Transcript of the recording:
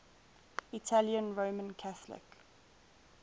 italian roman catholic